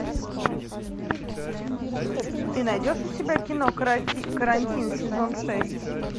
ты найдешь у себя кино карантин сезон шесть